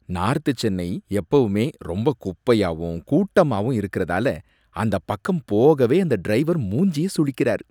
North Chennai எப்பவுமே ரொம்ப குப்பையாவும் கூட்டமாவும் இருக்குறதால அந்த பக்கம் போகவே அந்த டிரைவர் மூஞ்சிய சுளிக்கறாரு.